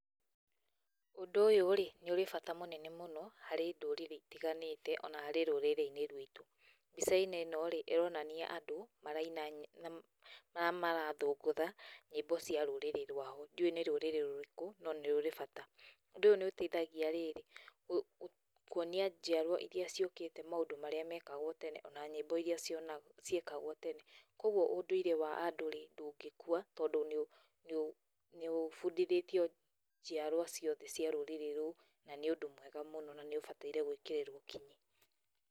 Ũndũ ũyũ-rĩ, nĩ ũrĩ bata mũnene mũno harĩ ndũrĩrĩ itiganĩte ona harĩ rũrĩrĩ-inĩ rwitũ. Mbica-inĩ ĩno-rĩ ĩronania andũ maraina na arĩa marathũngũtha nyĩmbo cia rũrĩrĩ rwao, ndiũĩ nĩ rũrĩrĩ rũrĩkũ no nĩrũrĩ bata. ũndũ ũyũ nĩ ũteithagia rĩrĩ, kũonia njiarwa iria ciũkĩte maũndũ marĩa mekagwo tene ona nyĩmbo iria ciekagwo tene, kuoguo ũndũire wa andũ-rĩ ndũngĩkua tondũ nĩ ũbundithĩtio njiarwa ciothe cia rũrĩrĩ rũu na nĩ ũndũ mwega mũno na nĩũbataire gwĩkĩrĩrwo kinyi.